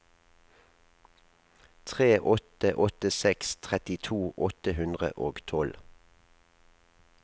tre åtte åtte seks trettito åtte hundre og tolv